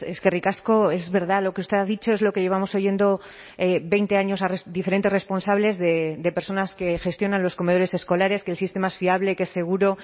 eskerrik asko es verdad lo que usted ha dicho es lo que llevamos oyendo veinte años a diferentes responsables de personas que gestionan los comedores escolares que el sistema es fiable que es seguro